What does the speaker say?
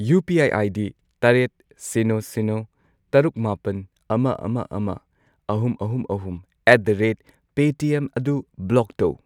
UPI. ID. ꯇꯔꯦꯠ, ꯁꯤꯅꯣ, ꯁꯤꯅꯣ, ꯇꯔꯨꯛ, ꯃꯥꯄꯟ , ꯑꯃ, ꯑꯃ, ꯑꯃ, ꯑꯍꯨꯝ, ꯑꯍꯨꯝ, ꯑꯍꯨꯝ ꯑꯦꯠ ꯗ ꯔꯦꯠ ꯄꯦꯇꯤꯑꯦꯝ ꯑꯗꯨ ꯕ꯭ꯂꯣꯛ ꯇꯧ꯫